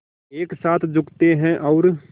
एक साथ झुकते हैं और